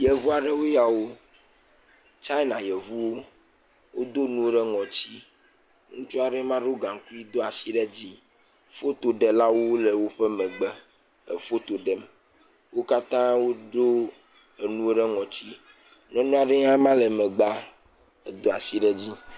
Yevu aɖewoe ya wo. China Yevuwo. Wodo nuwo ɖe ŋɔtsi. Ŋutsu aɖee ma, do gaŋkui, do ashi ɖe dzii. Fotoɖelawo le woƒe megbe efoto ɖem. Wo katã woɖo enuwo ɖe ŋɔtsi. Nyɔnu aɖe hã ema le megbea, edo ashi ɖe dzii.